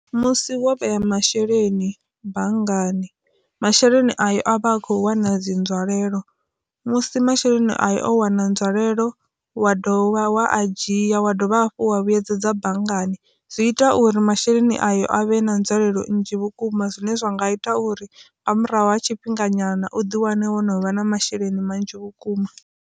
Musi wo vhea masheleni banngani masheleni ayo a vha a kho wana dzi nzwalelo musi masheleni ayo o wana nzwalelo wa dovha wa a dzhia wa dovha dovha hafhu wa vhuyedza dza banngani. Zwi ita uri masheleni ayo a vhe na nzulelo nnzhi vhukuma zwine zwa nga ita uri nga murahu ha tshifhinga nyana uḓi wane wo no vha na masheleni manzhi vhukuma.